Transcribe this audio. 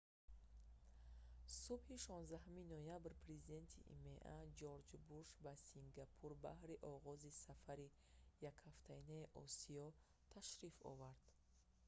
субҳи 16 ноябр президенти има ҷорҷ буш ба сингапур баҳри оғози сафари якҳафтаинаи осиё ташриф овард